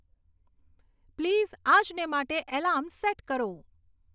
please આજને માટે alarm set કરો